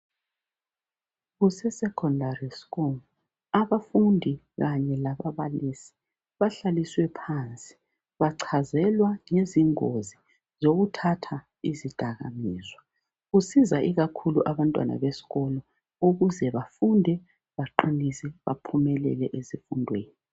Kusese secondary school abafundi kanye lababalisi bahlaliswe phansi bachazelwa ngezingozi zokuthatha izidakamizwa kusiza ikakhulu abantwana besikolo ukuze bafunde baqinise baphumelele ezifundweni.